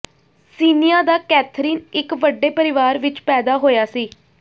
Siena ਦਾ Catherine ਇੱਕ ਵੱਡੇ ਪਰਿਵਾਰ ਵਿੱਚ ਪੈਦਾ ਹੋਇਆ ਸੀ